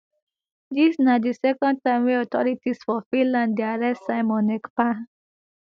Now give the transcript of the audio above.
dis na di second time wey authorities for finland dey arrest simon ekpa